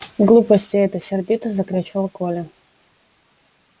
глупости это сердито закричал коля